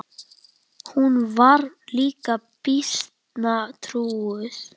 Hún var líka býsna trúuð.